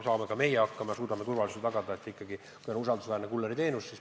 Saame ka meie hakkama ja suudame seejuures turvalisuse tagada, kasutades usaldusväärset kullerteenust.